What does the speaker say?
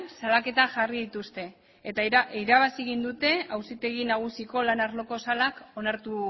salaketak jarri dituzte eta irabazi egin dute auzitegi nagusiko lan arloko salak onartu